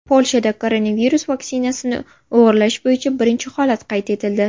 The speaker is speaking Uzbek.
Polshada koronavirus vaksinasini o‘g‘irlash bo‘yicha birinchi holat qayd etildi.